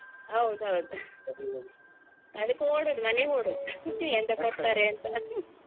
ಹೌದೌದು ಅದಿಕ್ಕೆ ಓಡುದು ಮನೆಗೆ ಓಡುದು ಎಂತ ಕೊಡ್ತಾರೇ ಅಂತ